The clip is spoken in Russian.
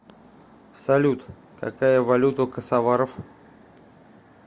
салют какая валюта у косоваров